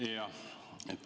Jah.